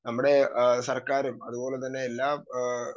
speaker 2 നമ്മുടെ അഹ് സർക്കാര് അതുപോലെതന്നെ എല്ലാ അഹ്